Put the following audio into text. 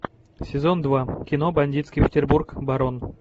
сезон два кино бандитский петербург барон